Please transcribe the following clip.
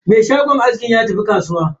Me shagon askin ya tafi kasuwa.